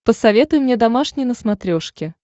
посоветуй мне домашний на смотрешке